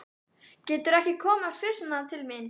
Geturðu ekki komið á skrifstofuna til mín?